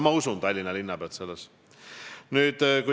Ma usun siin Tallinna linnapead.